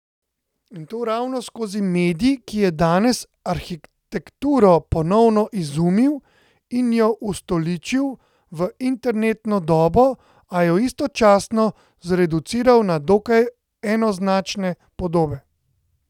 In to ravno skozi medij, ki je danes arhitekturo ponovno izumil in jo ustoličil v internetno dobo, a jo istočasno zreduciral na dokaj enoznačne podobe.